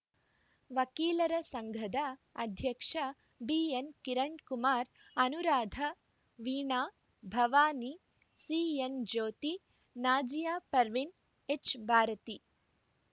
ವಕೀಲರ ಸಂಘದ ಅಧ್ಯಕ್ಷ ಬಿಎನ್‌ ಕಿರಣ್‌ಕುಮಾರ್‌ ಅನುರಾಧ ವೀಣಾ ಭವಾನಿ ಸಿಎನ್‌ ಜ್ಯೋತಿ ನಾಜಿಯ ಪರ್ವಿನ್‌ ಎಚ್‌ಭಾರತಿ